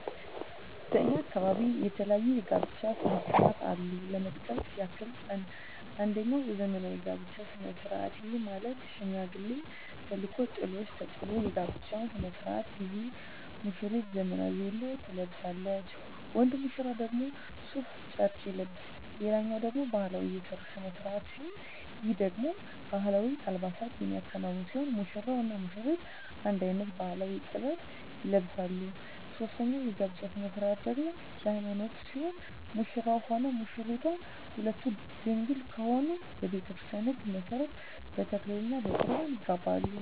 በእኛ አካባቢ የተለያዩ የጋብቻ ስነ ስርዓቶች አሉ ለመጥቀስ ያክል አንጀኛው ዘመናዊ የጋብቻ ስነ ስርዓት ይህም ማለት ሽማግሌ ተልኮ ጥሎሽ ተጥሎ የጋብቻው ስነ ስርዓት ጊዜ ሙስራይቱ ዘመናዊ ቬሎ ትለብሳለች ወንድ ሙሽራው ደግሞ ሡፍ ጨርቅ ይለብሳል ሌላኛው ደግሞ ባህላዊ የሰርግ ስነ ስርዓት ሲሆን ይህ ደግሞ በባህላዊ አልባሳት የሚከናወን ሲሆን ሙሽራው እና ሙሽሪቷ አንድ አይነት ባህላዊ(ጥበብ) ይለብሳሉ ሶስተኛው የጋብቻ ስነ ስርዓት ደግሞ የሀይማኖት ሲሆን ሙሽራውም ሆነ ሙሽራይቷ ሁለቱም ድንግል ከሆኑ በቤተክርስቲያን ህግ መሠረት በተክሊል እና በቁርባን ይጋባሉ።